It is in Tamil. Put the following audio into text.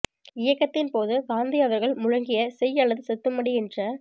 இயக்கத்தின் போது காந்தி அவர்கள் முழங்கிய செய் அல்லது செத்துமடி என்ற